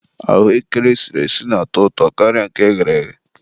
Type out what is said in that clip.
ahụekere esiri esi na-atọ ụtọ karịa nke eghere eghe.